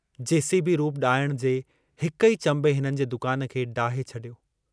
JCB रूप ॾाइण जे हिक ई चंबे हिननि जे दुकान खे डाहे छॾियो।